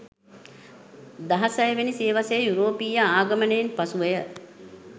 දහසයවෙනි, සියවසේ යුරෝපීය ආගමනයෙන් පසුවය.